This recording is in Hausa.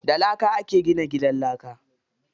Da laka ake gina gidan laka.